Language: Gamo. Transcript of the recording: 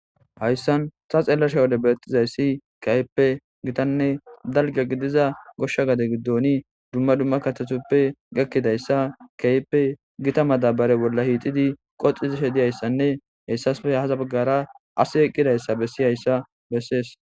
hayssan ta xeellasha wode beexxizayssi kayppe gitanne dalga gidiza goshsha gade giddoni dumma dumma katatuppe gakkidayssa kayppe gita madabare bolla hiixidi qoxizishe diyayssanne heyssaspe hahaza baggara asi eqqidayssa bessi hayssa bessees.